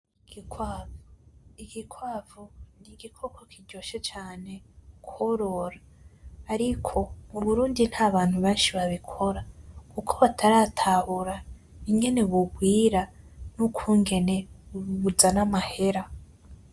Igikwavu, igikwavu n'igikoko kiryoshe cane kworora, ariko mu Burundi ntabantu benshi babikora kuko bataratahura ingene bugwira n'ukungene buzana amahera.